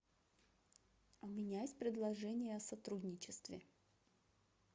у меня есть предложение о сотрудничестве